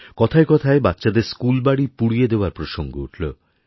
কথায় কথায় বাচ্চাদের স্কুলবাড়ি পুড়িয়ে দেওয়ার প্রসঙ্গ উঠল